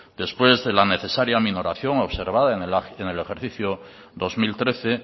después de la necesaria minoración observada en el ejercicio dos mil trece